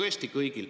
Aitäh!